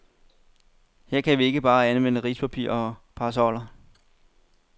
Her kan vi ikke bare anvende rispapir og parasoller.